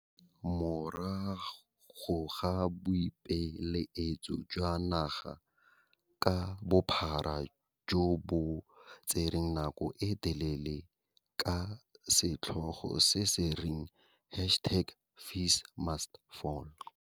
Morago ga boipelaetso jwa naga ka bophara jo bo tsereng nako e telele, ka setlhogo se se reng hashtag FeesMustFall.